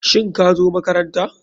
Shin kazo makaranta.